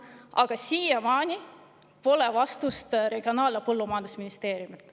Aga siiamaani pole tulnud vastust Regionaal- ja Põllumajandusministeeriumilt.